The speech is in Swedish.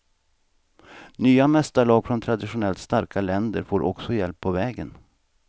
Nya mästarlag från traditionellt starka länder får också hjälp på vägen.